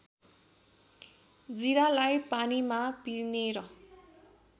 जिरालाई पानीमा पिनेर